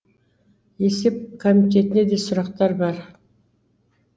есеп комитетіне де сұрақтар бар